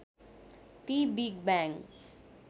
ती big bang